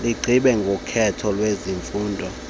ligqibe ngokhetho lwezifundo